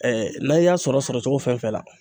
n'an y'a sɔrɔ sɔrɔ cogo fɛn fɛn la